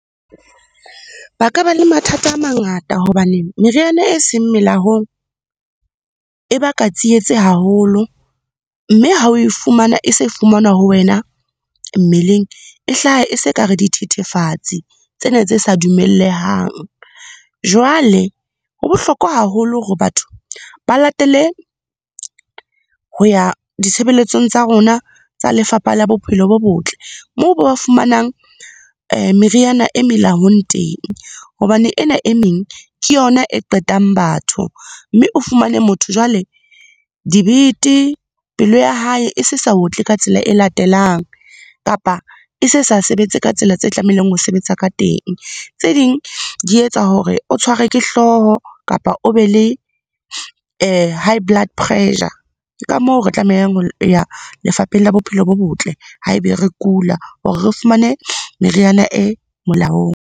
Ba ka ba le mathata a mangata hobaneng meriana e seng melaong, e baka tsietsi haholo. Mme ha o e fumana, e se fumanwa ho wena mmeleng e hlaha e se kare dithethefatsi tsena tse sa dumellehang. Jwale ho bohlokwa haholo hore batho ba latele, ho ya ditshebeletsong tsa rona tsa lefapha la bophelo bo botle moo ba fumanang meriana e melaong teng. Hobane ena e meng ke yona e qetang batho. Mme o fumane motho jwale dibete, pelo ya hae e se sa otle ka tsela e latelang, kapa e se sa sebetse ka tsela tse tlamehileng ho sebetsa ka teng. Tse ding, di etsa hore o tshwarwe ke hlooho, kapa o be le high blood pressure. Ke ka moo re tlamehang ho ya lefapheng la bophelo bo botle ha e be re kula, hore re fumane meriana e molaong.